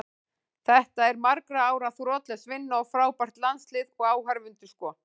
Þetta er margra ára þrotlaus vinna og frábært landslið, og áhorfendur sko.